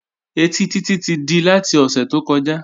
Ẹtí Títí ti di láti ọ̀sẹ̀ tó kọjá